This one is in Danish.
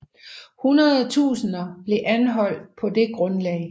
Hundredtusinder blev anholdt på det grundlag